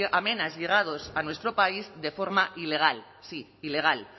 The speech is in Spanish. a menas llegados a nuestro país de forma ilegal sí ilegal